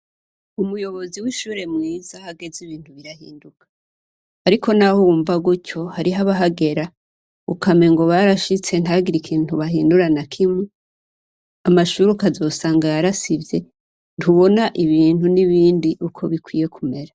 Umuyobozi w'ishure mwiza hageze ibintu birahinduka, ariko, naho uwumva gutyo hariho abahagera ukame ngo barashitse ntagira ikintu bahindura na kimu amashuruka azosanga yarasivye ntubona ibintu n'ibindi uko bikwiye kumera.